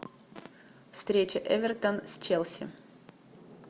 встреча эвертон с челси